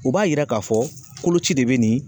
O b'a yira k'a fɔ koloci de be nin